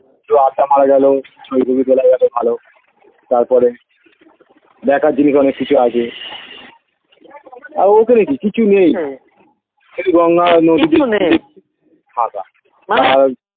. মারা গেলো . ভালো তারপরে দেখার জিনিস অনেক কিছু আছে আর ওখানে কি কিছু নেই শুধু গঙ্গা নদী ফাঁকা